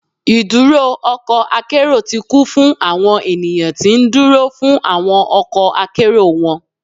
Iduro ọkọ akero ti kun fun awọn eniyan ti nduro fun awọn ọkọ akero wọn